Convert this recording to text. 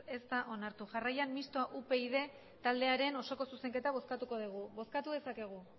ez da onartu jarraian mistoa upyd taldearen osoko zuzenketa bozkatuko dugu bozkatu dezakegu